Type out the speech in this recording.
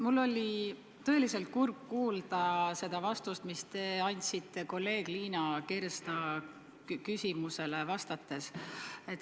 Mul oli tõeliselt kurb kuulda seda vastust, mis te andsite kolleeg Liina Kersna küsimusele vastates.